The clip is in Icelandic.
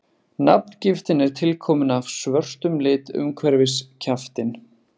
nafngiftin er tilkomin af svörtum lit umhverfis kjaftinn